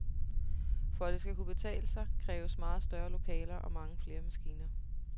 For at det skal kunne betale sig, kræves meget større lokaler og mange flere maskiner.